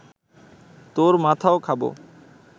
তোর মাথাও খাব